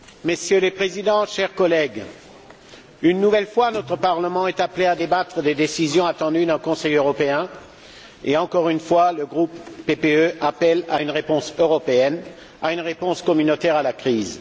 Monsieur le Président, Messieurs les Présidents, chers collègues. Une nouvelle fois, notre Parlement est appelé à débattre des décisions attendues d'un Conseil européen et, une nouvelle fois, le groupe PPE appelle à une réponse européenne, à une réponse communautaire à la crise.